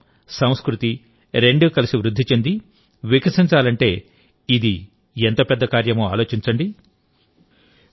పర్యావరణం సంస్కృతి రెండూ కలిసి వృద్ధి చెంది వికసించాలంటే ఇది ఎంత పెద్ద కార్యమో ఆలోచించండి